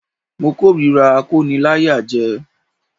Mo k'órira akóniláyàjẹ